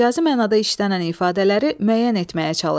Məcazi mənada işlənən ifadələri müəyyən etməyə çalış.